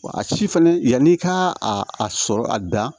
Wa a ci fɛnɛ yann'i ka a sɔrɔ a da